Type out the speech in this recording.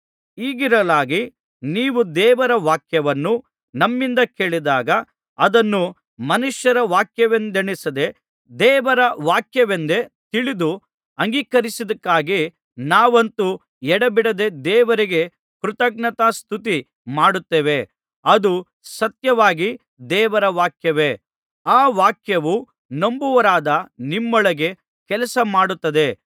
ಹೀಗಿರಲಾಗಿ ನೀವು ದೇವರ ವಾಕ್ಯವನ್ನು ನಮ್ಮಿಂದ ಕೇಳಿದಾಗ ಅದನ್ನು ಮನುಷ್ಯರ ವಾಕ್ಯವೆಂದೆಣಿಸದೆ ದೇವರ ವಾಕ್ಯವೆಂದೇ ತಿಳಿದು ಅಂಗೀಕರಿಸಿದ್ದಕ್ಕಾಗಿ ನಾವಂತೂ ಎಡೆಬಿಡದೆ ದೇವರಿಗೆ ಕೃತಜ್ಞತಾಸ್ತುತಿ ಮಾಡುತ್ತೇವೆ ಅದು ಸತ್ಯವಾಗಿ ದೇವರ ವಾಕ್ಯವೇ ಆ ವಾಕ್ಯವು ನಂಬುವವರಾದ ನಿಮ್ಮೊಳಗೆ ಕೆಲಸ ಮಾಡುತ್ತದೆ